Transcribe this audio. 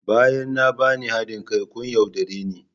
Bayan na bani hadin kai kun yaudare ni